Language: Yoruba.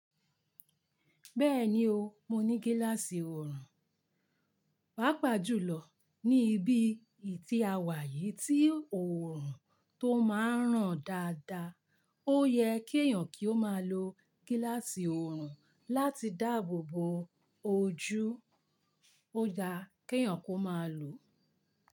Bẹ́ẹ̀ni o, mo ní gíláàsì òòrùn. Pàápàá jùlọ ní ibi ìtìawáyè tí òòrùn tó máa ń ràn dáadáa. Ó yẹ kí èèyàn kí ó máa lo gíláàsì òòrùn láti dáàbò bo ojú. Ó da kí èèyàn kó máa lòó.